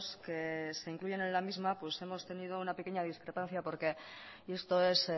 que se incluyen en la misma hemos tenido una pequeña discrepancia porque y esto es